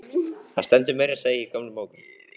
Það stendur meira að segja í gömlum bókum.